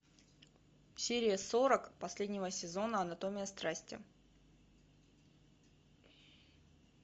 серия сорок последнего сезона анатомия страсти